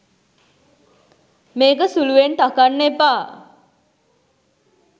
මේක සුළුවෙන් තකන්න එපා .